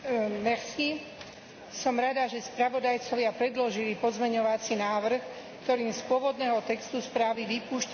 Som rada, že spravodajcovia predložili pozmeňovací návrh, ktorým z pôvodného textu správy vypúšťajú zmienku o tzv.